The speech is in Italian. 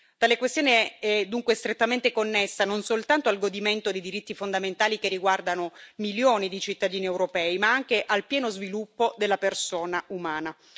Tale questione è dunque strettamente connessa non soltanto al godimento di diritti fondamentali che riguardano milioni di cittadini europei, ma anche al pieno sviluppo della persona umana.